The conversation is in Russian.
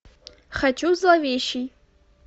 хочу зловещий